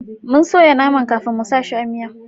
Mun soya naman kafin mu sa shi a miya